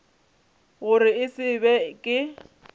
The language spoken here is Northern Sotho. gore e se be ke